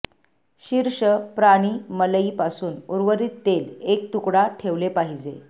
शीर्ष प्राणी मलई पासून उर्वरित तेल एक तुकडा ठेवले पाहिजे